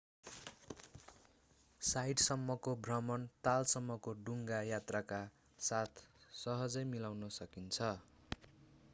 साइटसम्मको भ्रमण तालसम्मको डुङ्गा यात्राका साथ सहजै मिलाउन सकिन्छ